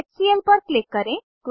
HCL पर click करें